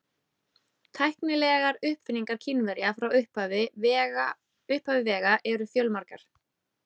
Tæknilegar uppfinningar Kínverja frá upphafi vega eru fjölmargar.